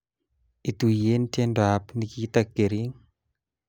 Ituyen tiendoab Nikita Kering